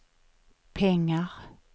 pengar